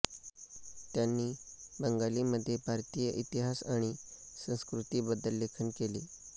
त्यांनी बंगालीमध्ये भारतीय इतिहास आणि संस्कृतीबद्दल लेखन केले